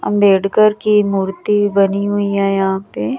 अंबेडकर की मूर्ति बनी हुई है यहाँ पे--